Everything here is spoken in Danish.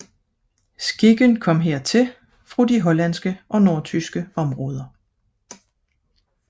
Skikken kom hertil fra de hollandske og nordtyske områder